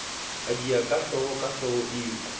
a diha kahlolo kahlolo eo